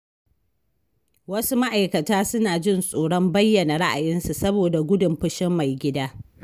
Wasu ma’aikata suna jin tsoron bayyana ra’ayinsu saboda gudun fushin "Mai gida".